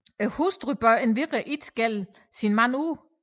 Hustruen bør endvidere ikke skælde sin mand ud